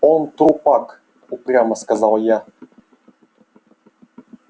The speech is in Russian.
он трупак упрямо сказал я